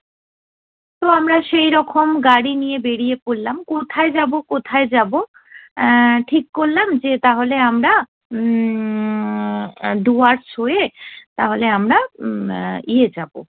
তো আমরা সেই রকম গাড়ি নিয়ে বেরিয়ে পড়লাম, কোথায় যাবো কোথায় যাবো! এ্যা ঠিক করলাম যে তাহলে আমরা উম আহ ডুয়ার্টস হয়ে তাহলে আমরা উম ইয়ে যাবো,